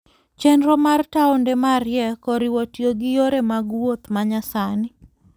Chenro mar taonde mariek oriwo tiyo gi yore mag wuoth ma nyasani.